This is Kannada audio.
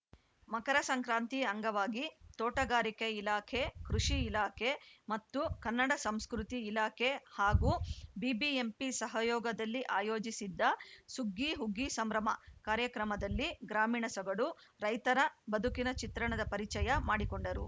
ಮಕರ ಸಂಕ್ರಾಂತಿ ಅಂಗವಾಗಿ ತೋಟಗಾರಿಕೆ ಇಲಾಖೆ ಕೃಷಿ ಇಲಾಖೆ ಮತ್ತು ಕನ್ನಡ ಸಂಸ್ಕೃತಿ ಇಲಾಖೆ ಹಾಗೂ ಬಿಬಿಎಂಪಿ ಸಹಯೋಗದಲ್ಲಿ ಆಯೋಜಿಸಿದ್ದ ಸುಗ್ಗಿಹುಗ್ಗಿ ಸಂಭ್ರಮ ಕಾರ್ಯಕ್ರಮದಲ್ಲಿ ಗ್ರಾಮೀಣ ಸೊಗಡು ರೈತರ ಬದುಕಿನ ಚಿತ್ರಣದ ಪರಿಚಯ ಮಾಡಿಕೊಂಡರು